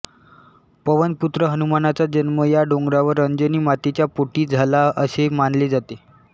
पवनपुत्र हनुमानाचा जन्म या डोंगरावर अंजनी मातेच्या पोटी झाला असे मानले जाते